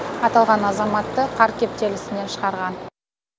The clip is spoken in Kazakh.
аталған азаматты қар кептелісінен шығарған